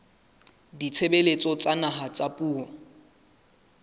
ditshebeletso tsa naha tsa puo